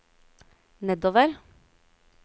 nedover